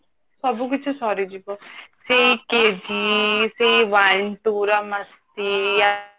ସବୁ କିଛି ସରିଯିବା ସେଇ KV ସେଇ one two ର ମସ୍ତି